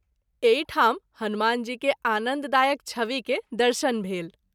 एहि ठाम हनुमान जी के आनन्द दायक छवि के दर्शन भेल।